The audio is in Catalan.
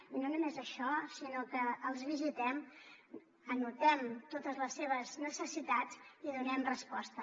i no només això sinó que els visitem anotem totes les seves necessitats i hi donem resposta